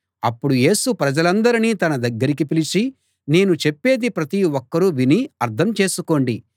అప్పుడు యేసు ప్రజలందరినీ తన దగ్గరికి పిలిచి నేను చెప్పేది ప్రతి ఒక్కరూ విని అర్థం చేసుకోండి